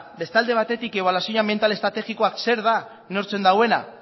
beste alde batetik ebaluazio anbiental estrategikoa zer da neurtzen duena